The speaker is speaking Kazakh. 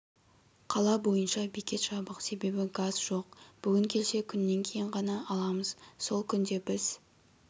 қала бойынша бекет жабық себебі газ жоқ бүгін келсе күннен кейін ғана аламыз сол күнде біз